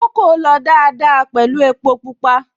Kókò lọ dáadáa pẹ̀lú epo Pupa